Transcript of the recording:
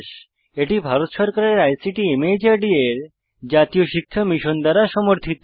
এটি ভারত সরকারের ICT MHRD এর জাতীয় শিক্ষা মিশন দ্বারা সমর্থিত